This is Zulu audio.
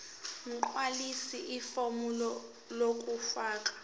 gqwalisa ifomu lokufaka